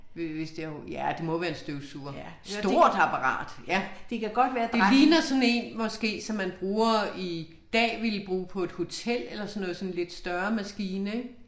Øh det jo ja det må være en støvsuger. Stort apparat ja. Det ligner sådan en måske som man bruger i dag ville bruge på et hotel sådan en lidt større maskine ik